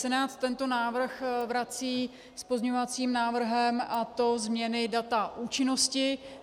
Senát tento návrh vrací s pozměňovacím návrhem, a to změny data účinnosti.